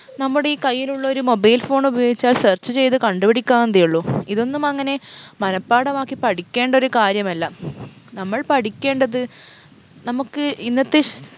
നമ്മുടെ ഈ കയ്യിലുള്ളൊരു mobile phone ഉപയോഗിച്ചാൽ search ചെയ്ത് കണ്ടുപിടിക്കാവുന്നതേ ഉള്ളു ഇതൊന്നും അങ്ങനെ മനഃപാഠം ആക്കി പഠിക്കേണ്ടൊരു കാര്യമല്ല നമ്മൾ പഠിക്കേണ്ടത് നമുക്ക് ഇന്നത്തെ